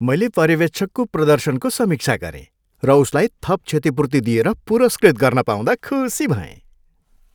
मैले पर्यवेक्षकको प्रदर्शनको समीक्षा गरेँ र उसलाई थप क्षतिपूर्ति दिएर पुरस्कृत गर्न पाउँदा खुसी भएँ।